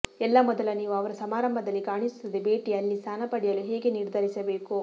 ಎಲ್ಲಾ ಮೊದಲ ನೀವು ಅವರು ಸಮಾರಂಭದಲ್ಲಿ ಕಾಣಿಸುತ್ತದೆ ಭೇಟಿ ಅಲ್ಲಿ ಸ್ಥಾನ ಪಡೆಯಲು ಹೇಗೆ ನಿರ್ಧರಿಸಬೇಕು